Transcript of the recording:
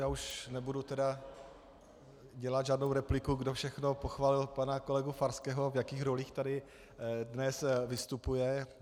Já už nebudu tedy dělat žádnou repliku, kdo všechno pochválil pana kolegu Farského, v jakých rolích tady dnes vystupuje.